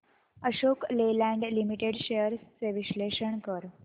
Ashok Leyland limited shares चे विश्लेषण कर